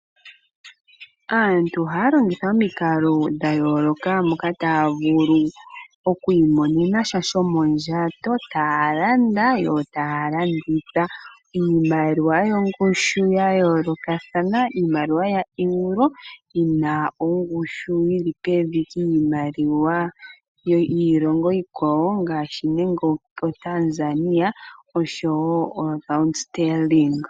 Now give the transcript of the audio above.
Aantu ohaya longitha omikalo dhayooloka mpoka haya vulu okwiimonena sha shomondjato taya landa yo taya landitha. Iimaliwa yongushu yayoolokathana iimaliwa yaEuro yina ongushu yili pevi ngashi nande opo Tanzania.